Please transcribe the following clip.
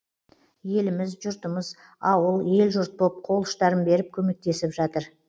еліміз жұртымыз ауыл ел жұрт боп қол ұштарын беріп көмектесіп жатыр